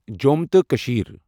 جۄم تہٕ کٔشِيٖر